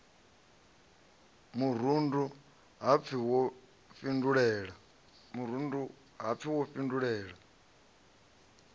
murundu ha pfi wo fhindulela